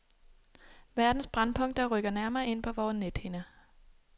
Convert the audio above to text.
Verdens brændpunkter rykker nærmere ind på vore nethinder.